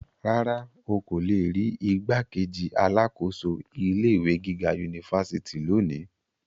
Rárá, o ko le ri rii igbákejì alákòóso ilé ìwé gíga unifásitì loni.